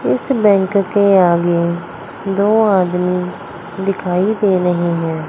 इस बैंक के आगे दो आदमी दिखाई दे रहे है।